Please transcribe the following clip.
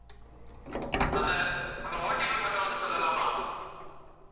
அந்த, அந்த OTP மட்டும் கொஞ்சம் சொல்லலாமா